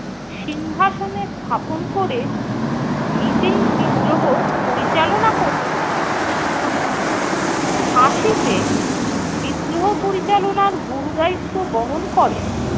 সিংহাসনে স্থাপন কোরে নিজেই বিদ্রোহ পরিচালনা করতেন। ঝাঁসিতে বিদ্রোহ পরিচালনার গুরু দায়িত্ব বহন করেন